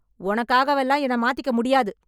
உனக்காகவெல்லாம் என்னை மாத்திக்க முடியாது.